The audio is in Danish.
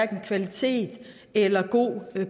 kvalitet eller god